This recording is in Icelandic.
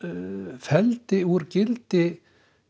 felldi úr gildi